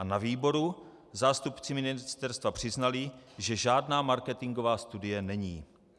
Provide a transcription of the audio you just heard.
A na výboru zástupci ministerstva přiznali, že žádná marketingová studie není.